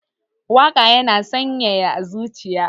Waƙa yana sanyaya zuciya